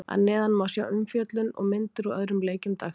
Að neðan má sjá umfjöllun og myndir úr öðrum leikjum dagsins.